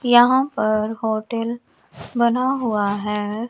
यहां पर होटेल बना हुआ है।